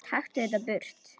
Taktu þetta burt!